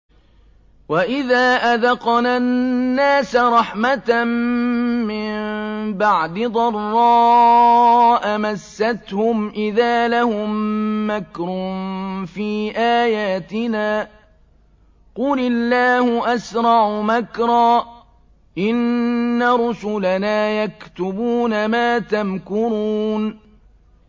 وَإِذَا أَذَقْنَا النَّاسَ رَحْمَةً مِّن بَعْدِ ضَرَّاءَ مَسَّتْهُمْ إِذَا لَهُم مَّكْرٌ فِي آيَاتِنَا ۚ قُلِ اللَّهُ أَسْرَعُ مَكْرًا ۚ إِنَّ رُسُلَنَا يَكْتُبُونَ مَا تَمْكُرُونَ